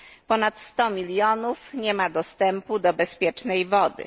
Ponad sto milionów nie ma dostępu do bezpiecznej wody.